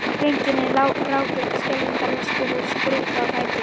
Drengirnir ráku upp skelfingaröskur og spruttu á fætur.